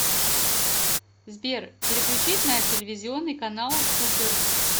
сбер переключить на телевизионный канал супер